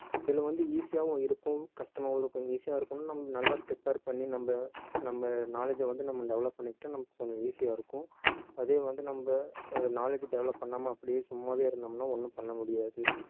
இதுல வந்து easy ஆவும் இருக்கும் கஷ்டமாவும் இருக்கும் easy ஆ இருக்கணுன்னா நம்ம நல்லா prepare பண்ணி நம்ம நம்ம knowledge அ வந்து நம்ம develop பண்ணிக்கிட்டா நமக்கு கொஞ்சம் easy ஆ இருக்கும் அதே வந்து நம்ம அஹ் knowledge develop பண்ணாம அப்படியே சும்மாவே இருந்தோம்ன்னா ஒண்ணும் பண்ண முடியாது